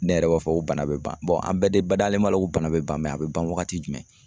Ne yɛrɛ b'a fɔ ko bana be ban an bɛɛ de badalen b'a la ko bana be ban a be ban wagati jumɛn?